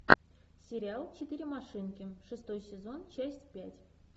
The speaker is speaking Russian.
сериал четыре машинки шестой сезон часть пять